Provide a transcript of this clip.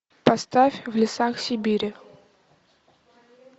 поставь в лесах сибири